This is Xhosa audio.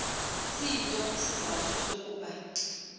siyintoni isizathu sokuba